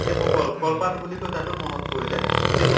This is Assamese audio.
যে মই কল লল পাত বুলি কলো তাতো মনত পৰিলে যিটো